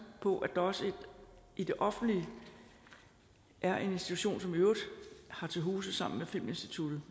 på at der også i det offentlige er en institution som i øvrigt har til huse hos filminstituttet